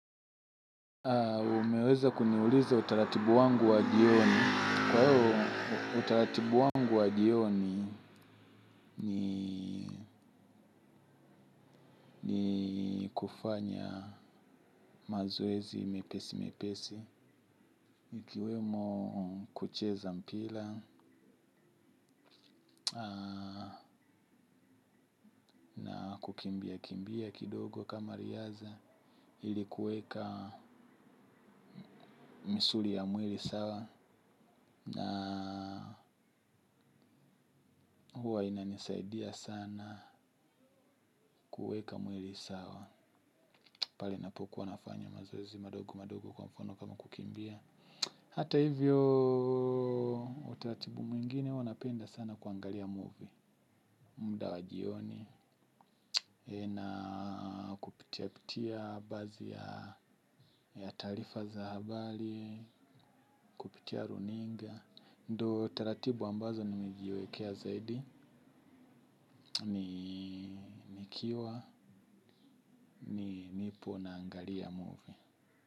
Umeweza kuniuliza utaratibu wangu wa jioni. Kwa hiyo utaratibu wangu wa jioni ni kufanya mazoezi mepesi mepesi. Ikiwemo kucheza mpila, kukimbia kimbia kidogo kama riaza. Ili kuweka misuli ya mwili sawa na huwa inanisaidia sana kuweka mwili sawa. Pale napokuwa nafanya mazoezi madogo madogo kwa mfano kama kukimbia. Hata hivyo utaratibu mwingine huwa napenda sana kuangalia movie. Muda wa jioni, na kupitia pitia baadhi ya taarifa za habari, pitia runinga. Ndo utaratibu ambazo nimejiwekea zaidi nikiwa ni nipo naangalia movie.